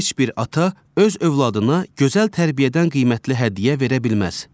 Heç bir ata öz övladına gözəl tərbiyədən qiymətli hədiyyə verə bilməz.